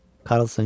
Karlson güldü.